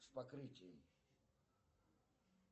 с покрытием